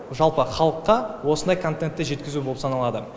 жалпы халыққа осындай контентте жеткізу болып саналады